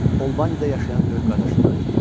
Albanidə yaşayan böyük qardaşından idi.